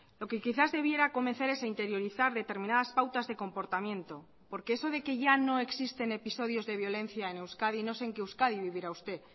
lo que quizás debiera comenzar es a interiorizar determinadas pautas de comportamiento porque eso de que ya no existen episodios de violencia en euskadi no sé en qué euskadi vivirá usted